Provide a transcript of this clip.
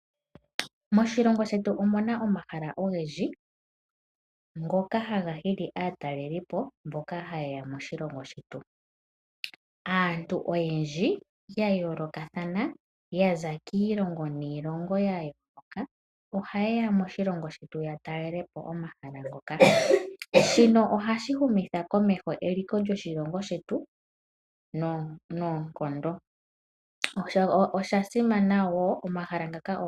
Moshilongo shetu omuna omahala ogendji ngoka haga hili aatalelipo mboka hayeya moshilongo shetu. Aantu oyendji yayoolokathana , yaza kiilongo niilongo, ohayeya moshilongo shetu yatale omahala ngoka. Shino ohashi humitha komeho eliko lyoshilongo shetu noonkondo.